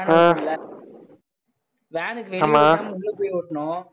van இருக்கும்ல van வெளில இல்லாம உள்ள போயும் ஒட்டினோம்